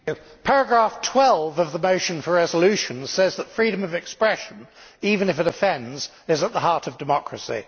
Mr President, paragraph 12 of the motion for a resolution says that freedom of expression even if it offends is at the heart of democracy.